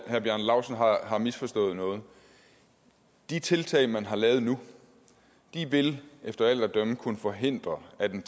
herre bjarne laustsen har har misforstået noget de tiltag man har taget nu vil efter alt at dømme kunne forhindre at en